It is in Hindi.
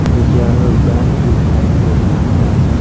रिजर्व बैंक दिखाई दे रहा है।